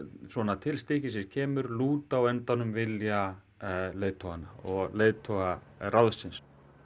til stykkisins kemur lúta á endanum vilja leiðtoganna og leiðtogaráðsins